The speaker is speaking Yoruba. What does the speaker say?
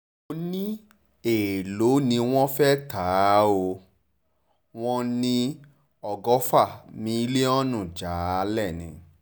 mo ní èèlò ni wọ́n fẹ́ẹ́ tá a ó ni wọ́n ní ọgọ́fà mílíọ̀nù jálẹ̀ ni